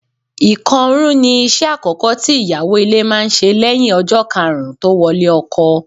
Ìkọrún ni iṣẹ́ àkọ́kọ́ tí ìyàwó ilé máa ń ṣe lẹ́yìn ọjọ́ karùn-ún tó wọlé ọkọ.